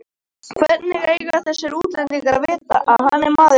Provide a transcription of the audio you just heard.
Hvernig eiga þessir útlendingar að vita að hann er maðurinn minn?